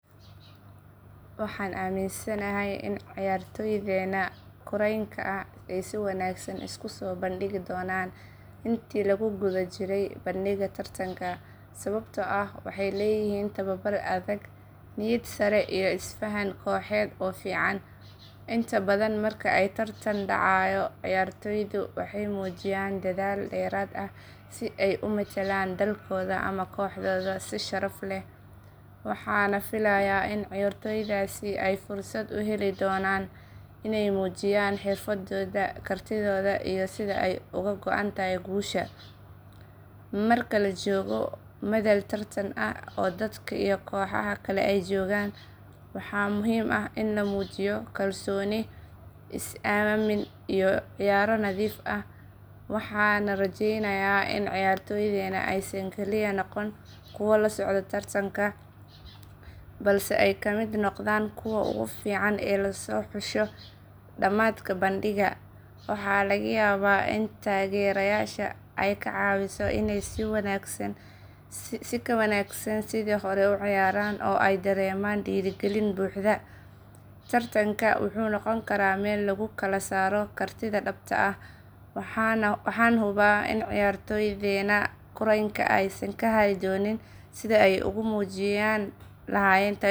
Waxaan aaminsanahay in ciyaartoydeenna kuraynka ay si wanaagsan isku soo bandhigi doonaan intii lagu guda jiray bandhigga tartanka sababtoo ah waxay leeyihiin tababar adag, niyad sare, iyo isfahan kooxeed oo fiican. Inta badan marka ay tartan dhacayo ciyaartoydu waxay muujiyaan dadaal dheeraad ah si ay u metelaan dalkooda ama kooxdooda si sharaf leh. Waxaan filayaa in ciyaartoydaasi ay fursad u heli doonaan inay muujiyaan xirfadooda, kartidooda iyo sida ay uga go'an tahay guusha. Marka la joogo madal tartan ah oo dadka iyo kooxaha kale ay joogaan, waxa muhiim ah in la muujiyo kalsooni, is aamin iyo ciyaar nadiif ah. Waxaan rajaynayaa in ciyaartoydeenna aysan kaliya noqon kuwo la socda tartanka, balse ay ka mid noqdaan kuwa ugu fiican ee la xuso dhammaadka bandhigga. Waxaa laga yaabaa in taageerada shacabka iyo kalsoonida tababarayaasha ay ka caawiso inay si ka wanaagsan sidii hore u ciyaaraan oo ay dareemaan dhiirigelin buuxda. Tartanka wuxuu noqon karaa meel lagu kala saaro kartida dhabta ah, waxaana hubaa in ciyaartoydeenna kuraynka aysan ka hari doonin sidii ay ugu muujin lahaayeen tayadooda dhabta ah.